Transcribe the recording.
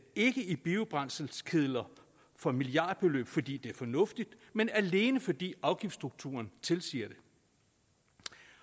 ikke i biobrændselskedler for milliardbeløb fordi det er fornuftigt men alene fordi afgiftsstrukturen tilsiger det